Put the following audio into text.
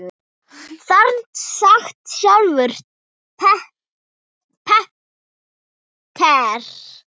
Þarna sat sjálfur Peter